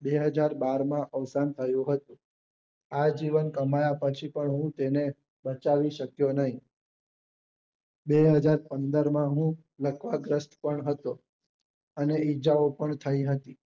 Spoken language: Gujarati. બે હાજર બાર માં અવસાન થયું હતું આજીવન કમાયા પછી પણ હું તેને બચાવી શક્યો નહિ બેહજાર પંદર માં હું લકવા ગ્રસ્ત પણ હતો અને ઇજજાઓ પણ થઇ હતી